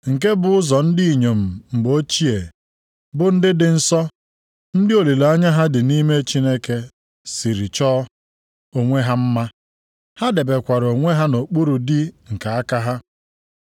Nke a bụ ụzọ ndị inyom mgbe ochie, bụ ndị dị nsọ, ndị olileanya ha dị nʼime Chineke siri chọọ onwe ha mma. Ha debekwara onwe ha nʼokpuru di nke aka ha.